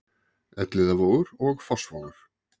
Elliðavogur og Fossvogur